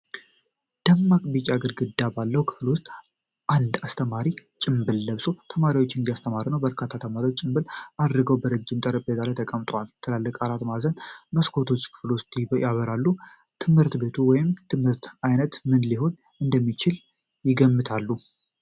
ደማቅ ቢጫ ግድግዳ ባለው ክፍል ውስጥ አንድ አስተማሪ ጭምብል ለብሶ ተማሪዎችን እያስተማረ ነው። በርካታ ተማሪዎችም ጭምብል አድርገው በረጅም ጠረጴዛ ላይ ተቀምጠዋል። ትልልቅ አራት ማዕዘን መስኮቶች ክፍሉን ያበራሉ። የትምህርት ቤቱ ወይም የትምህርቱ አይነት ምን ሊሆን እንደሚችል ይገምታሉ?